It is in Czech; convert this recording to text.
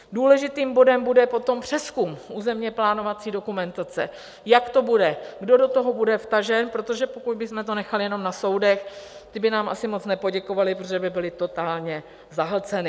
Důležitým bodem bude potom přezkum územně plánovací dokumentace, jak to bude, kdo do toho bude vtažen, protože pokud bychom to nechali jenom na soudech, ty by nám asi moc nepoděkovaly, protože by byly totálně zahlceny.